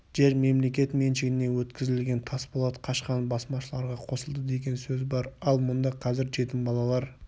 жер мемлекет меншігіне өткізілген тасболат қашқан басмашыларға қосылды деген сөз бар ал мұнда қазір жетім балалар